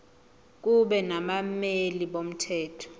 kube nabameli bomthetho